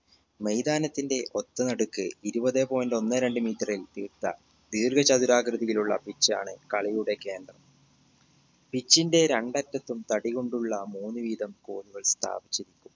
മൈതാനത്തിന്റെ ഒത്ത നടുക്ക് ഇരുപതെ point ഒന്ന് രണ്ട് meter ൽ തീർത്ത ദീർഘ ചതുരാകൃതിയിലുള്ള pitch ആണ് കളിയുടെ കേന്ദ്രം pitch ന്റെ രണ്ടറ്റത്തും തടി കൊണ്ടുള്ള മൂന്ന് വീതം കോലുകൾ സ്ഥാപിച്ചിട്ടുണ്ട്